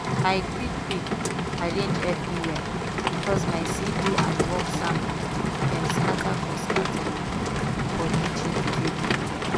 i quick quick arrange everywhere bcos my cv and work sample dem scatter for scatter for kitchen table